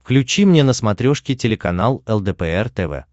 включи мне на смотрешке телеканал лдпр тв